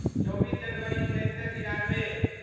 चौबीस जनवरी उन्नैस सए तिरानबे